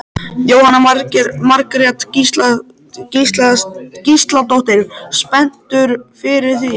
Jóhanna Margrét Gísladóttir: Spenntur fyrir því?